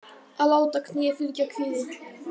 Að láta kné fylgja kviði